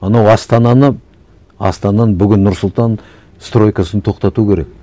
анау астананы астананың бүгін нұр сұлтан стройкасын тоқтату керек